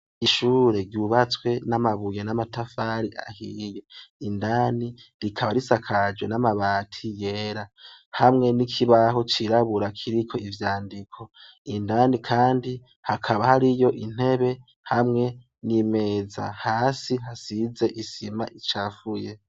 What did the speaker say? Ishuri ryubatswe n'amabuye n'amatafari ahiye indani rikaba risakajwe n'amabati yera hamwe n'ikibaho cirabura kiriko ivyandiko indani kandi hakaba hariyo intebe hamwe n'imeza hasi hasize isima icafuye.